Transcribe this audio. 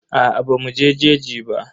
Aa bamu je jeji ba.